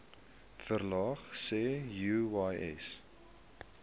verlaag sê uys